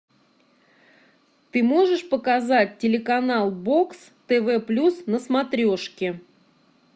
ты можешь показать телеканал бокс тв плюс на смотрешке